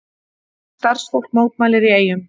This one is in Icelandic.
Starfsfólk mótmælir í Eyjum